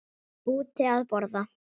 Úti að borða.